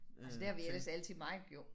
Altså det har vi ellers altid meget